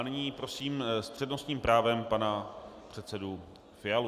A nyní prosím s přednostním právem pana předsedu Fialu.